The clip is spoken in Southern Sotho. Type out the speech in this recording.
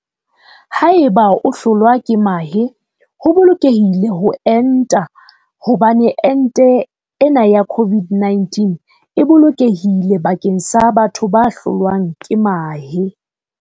Potso- Na ho bolokehile ho enta haeba o hlolwa ke mahe? Enteng tsena tsa COVID-19 ha e yo e nang le motswako wa mahe.